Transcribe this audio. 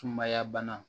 Sumaya bana